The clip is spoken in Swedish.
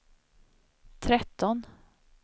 tretton